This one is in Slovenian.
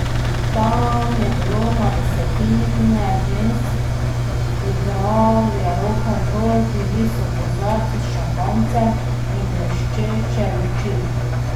Tam je bilo na desetine žensk, igral je rokenrol, bili so kozarci s šampanjcem in bleščeče luči.